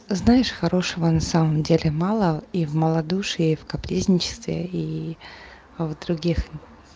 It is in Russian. знаешь хорошего на самом деле мало и в малодушии в капризничестве и в других